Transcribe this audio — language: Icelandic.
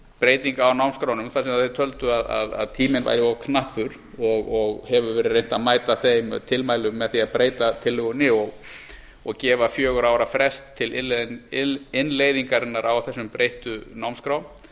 breytinga á námskránum þar sem þeir töldu að tíminn væri of knappur og hefur verið reynt að mæta þeim tilmælum með því að breyta tillögunni og gefa fjögurra ára frest til innleiðingarinnar á þessum breyttu námskrám